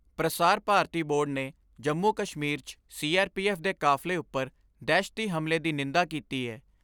ਪ੍ਰਸਾਰ ਭਾਰਤੀ ਬੋਰਡ ਨੇ ਜੰਮੂ ਕਸ਼ਮੀਰ 'ਚ ਸੀ ਆਰ ਪੀ ਐਫ ਦੇ ਕਾਫਲੇ ਉਪਰ ਦਹਿਸ਼ਤੀ ਹਮਲੇ ਦੀ ਨਿੰਦਾ ਕੀਤੀ ਏ।